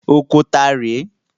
Oko ta rè é?